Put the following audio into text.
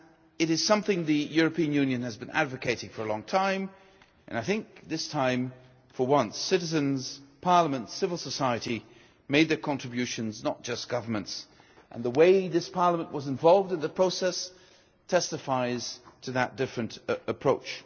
It is something the European Union has been advocating for a long time and I think this time, for once, citizens, parliaments, civil society, made the contributions, not just governments, and the way this Parliament was involved in the process testifies to that different approach.